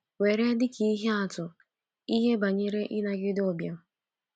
Were dị ka ihe atụ, ihe banyere ịnagide ụbịam.